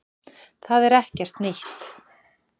Það er ekkert nýtt